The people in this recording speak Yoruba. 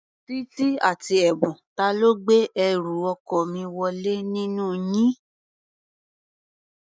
Títí àti Ẹ̀bùn, ta ló gbé ẹrù ọkọ mi wọlé nínú yín?